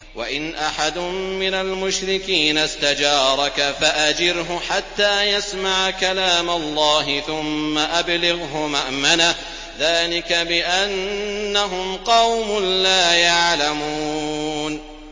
وَإِنْ أَحَدٌ مِّنَ الْمُشْرِكِينَ اسْتَجَارَكَ فَأَجِرْهُ حَتَّىٰ يَسْمَعَ كَلَامَ اللَّهِ ثُمَّ أَبْلِغْهُ مَأْمَنَهُ ۚ ذَٰلِكَ بِأَنَّهُمْ قَوْمٌ لَّا يَعْلَمُونَ